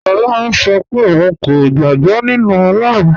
Lọlá ń ṣọ́ pẹ̀ ọ̀un kò gbàg̀bọ̀ nínu Ọlọ́run.